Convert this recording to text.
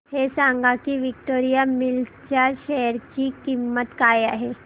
हे सांगा की विक्टोरिया मिल्स च्या शेअर ची किंमत काय आहे